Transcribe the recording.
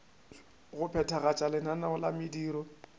go phethagatša lenaneo la mediro